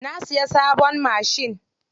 Na siya sabon machin.